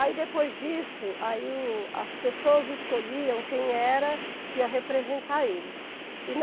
Aí depois disso, aí o as pessoas escolhiam quem era que ia representar eles. E